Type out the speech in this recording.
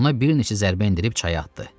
Ona bir neçə zərbə endirib çaya atdı.